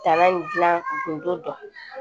Tan in gilan tun don